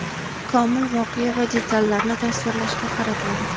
komil voqea va detallarni tasvirlashga qaratadi.